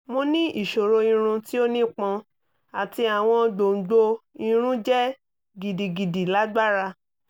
mo ni iṣoro irun ti o nipọn ati awọn gbongbo irun jẹ gidigidi lagbara